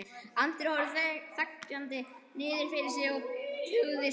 Andri horfði þegjandi niður fyrir sig og tuggði strá.